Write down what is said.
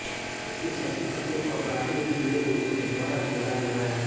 इसमें शशि कपूर और राखी हैं जिन्होंने इसमें दोहरा किरदार निभाया है